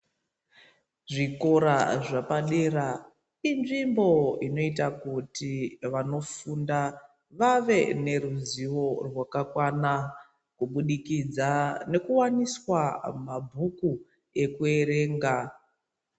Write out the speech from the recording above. Zvikora zvapadera inzvimbo inoita kuti vanofunda vave neruzivo rwakakwana kubudikidza nekuwaniswa mabhuku ekuerenga.